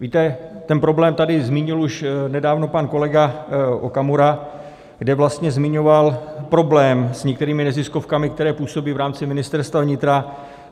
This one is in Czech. Víte, ten problém tady zmínil už nedávno pan kolega Okamura, kde vlastně zmiňoval problém s některými neziskovkami, které působí v rámci Ministerstva vnitra.